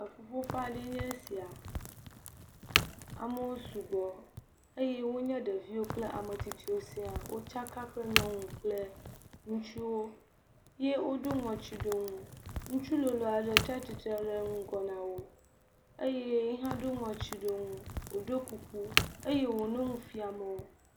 Eƒuƒoƒe aɖee nye eya amewo sugbɔ eye wonye ŋutsuwo kple ɖeviwo kple ametsitsiwo siaa, wo tsaka kple nyɔnu kple ŋutsuwo ye wo ɖɔ ŋɔtsiɖonu ŋutsu lolo aɖe tsi atsitre ɖe ŋgɔ na wo eye wònɔ nu fiam wo.